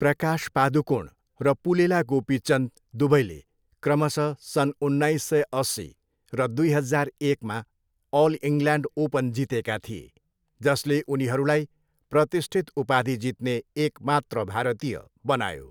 प्रकाश पादुकोण र पुलेला गोपीचन्द दुवैले क्रमशः सन् उन्नाइस सय अस्सी र दुई हजार एकमा अल इङ्ल्यान्ड ओपन जितेका थिए, जसले उनीहरूलाई प्रतिष्ठित उपाधि जित्ने एकमात्र भारतीय बनायो।